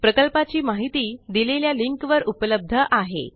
प्रकल्पाची माहिती दिलेल्या लिंक वर उपलब्ध आहे